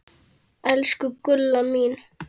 Elsku Gulla mín.